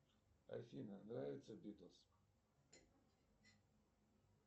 афина нравится битлз